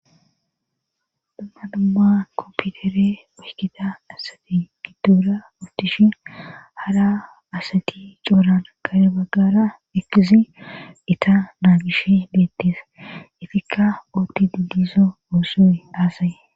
duma dumma kompiutere mushkida asati giddora ootish hara asati cooran garebaggara ekizi ita naa gish beettis ifikka ooti didizo oossoe aasaye